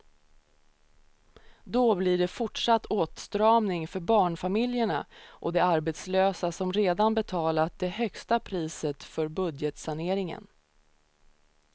Då blir det fortsatt åtstramning för barnfamiljerna och de arbetslösa som redan betalat det högsta priset för budgetsaneringen.